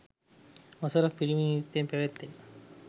වසර ක් පිරීම නිමිත්තෙන් පැවැත්වෙන